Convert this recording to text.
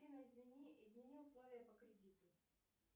афина измени условия по кредиту